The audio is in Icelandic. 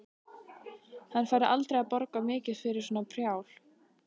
Hann færi aldrei að borga mikið fyrir svona prjál.